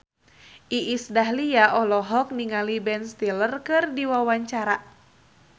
Iis Dahlia olohok ningali Ben Stiller keur diwawancara